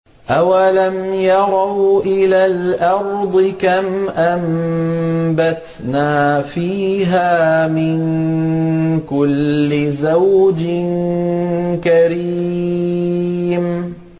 أَوَلَمْ يَرَوْا إِلَى الْأَرْضِ كَمْ أَنبَتْنَا فِيهَا مِن كُلِّ زَوْجٍ كَرِيمٍ